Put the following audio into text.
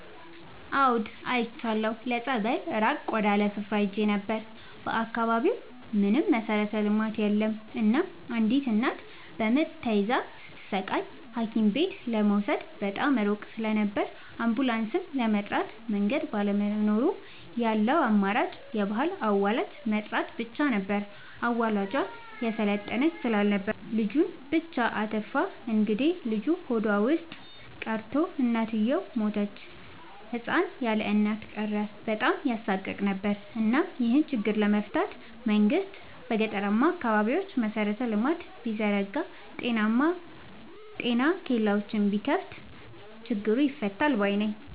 አዎድ አይቻለሁ ለፀበል ራቅ ወዳለ ስፍራ ሄጄ ነበር። በአካባቢው ምንም መሠረተ ልማት የለም እናም አንዲት እናት በምጥ ተይዛ ስትሰቃይ ሀኪምቤት ለመውሰድ በጣም ሩቅ ስለነበር አንቡላስም ለመጥራት መንገድ ባለመኖሩ ያለው አማራጭ የባህል አዋላጅ መጥራት ብቻ ነበር። አዋላጇ የሰለጠነች ስላልነበረች ልጁን ብቻ አትርፋ እንግዴልጁ ሆዷ ውስጥ ቀርቶ እናትየው ሞተች ህፃን ያለእናት ቀረ በጣም ያሳቅቅ ነበር እናም ይሄን ችግር ለመፍታት መንግስት በገጠራማ አካባቢዎች መሰረተ ልማት ቢዘረጋ ጤና ኬላዎችን ቢከፋት ችግሩ ይፈታል ባይነኝ።